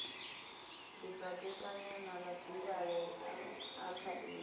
dibadekanya na vhadivhalea e khaedu